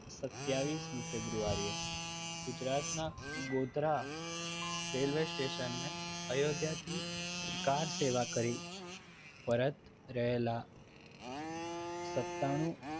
સતિવિસ મી ફેબ્રુઆરીએ ગુજરાતના ગોધરા રેલ્વે સ્ટેશન અયોધ્યાથી કારસેવા કરી પરત રહેલા સત્તા નુ